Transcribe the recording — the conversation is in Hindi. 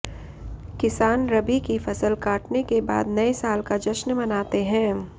किसान रबी की फसल काटने के बाद नए साल का जश्न मनाते हैं